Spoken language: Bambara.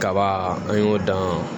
Kaba an y'o dan